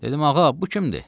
Dedim: Ağa, bu kimdir?